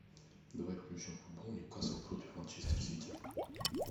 давай включим футбол ньюкасл против манчестер сити